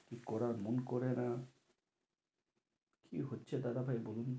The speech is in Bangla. কী করার মন করেনা। কী হচ্ছে দাদা ভাই বলুন তো?